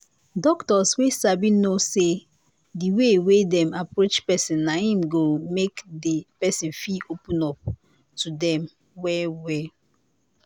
doctors wey sabi know say the way wey dem approach person na him.go.make the person fit open up to dem well well